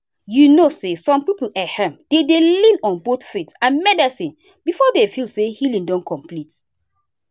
you know say some people[um]dem dey lean on both faith and medicine before dem feel say healing don complete.